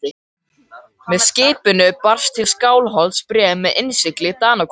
Með skipinu barst til Skálholts bréf með innsigli Danakonungs.